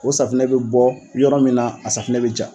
O safinɛ bɛ bɔ yɔrɔ min na ,a sanfinɛ bɛ ja.